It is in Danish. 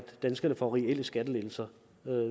danskerne får reelle skattelettelser